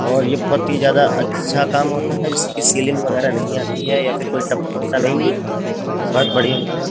और ये बहुत ही ज्यादा अच्छा काम होता है जिससे कि सीलिंग वगैरह नहीं आती है या फिर कोई टकपकता नहीं है बहुत बढ़िया होता है।